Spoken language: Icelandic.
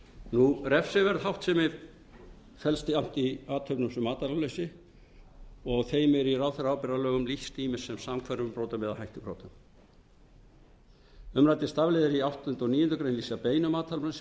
máli refsiverð háttsemi felst jafnt í athöfnum sem athafnaleysi og þeim er í ráðherraábyrgðarlögum lýst ýmist sem samhverfum brotum eða hættubrotum umræddir stafliðir í ákvæðum áttunda og níundu grein lýsa beinum athafnaleysisbrotum